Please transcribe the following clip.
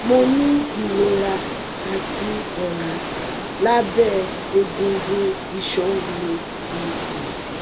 Mo ni irora ati ọra labẹ egungun iṣan mi ti ti osi